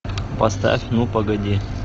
поставь ну погоди